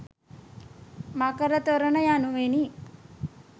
මකර තොරණ යනුවෙනි.